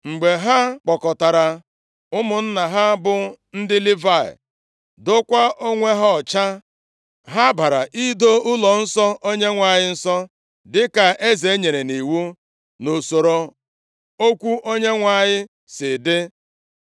Mgbe ha kpọkọtara ụmụnna ha bụ ndị Livayị, dokwaa onwe ha ọcha, ha bara ido ụlọnsọ Onyenwe anyị nsọ, dịka eze nyere nʼiwu, nʼusoro okwu Onyenwe anyị si dị.